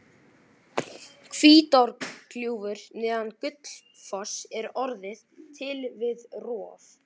Hvítárgljúfur neðan Gullfoss er orðið til við rof